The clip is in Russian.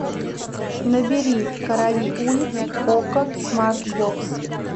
набери короли улиц окко смарт бокс